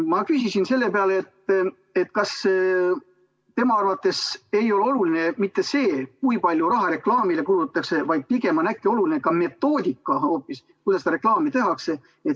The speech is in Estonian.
Ma küsisin seepeale, kas tema arvates ei ole oluline mitte see, kui palju raha reklaamile kulutatakse, vaid pigem hoopis metoodika, kuidas reklaami tehakse.